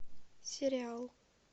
сериал